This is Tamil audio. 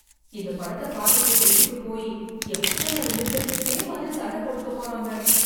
இந்த படத்த பாத்துட்டு வீட்டுக்குப் போய் என் பசங்க ரெண்டு பேரும் இதே மாதிரி சண்ட போட்டுக்கப் போறாங்க